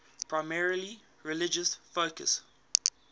primarily religious focus